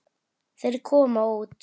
Þeir komu út.